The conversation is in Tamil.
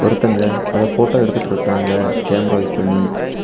ஒருத்தங்க அத ஃபோட்டோ எடுத்துட்டு இருக்காங்க கேமரா யூஸ் பண்ணி.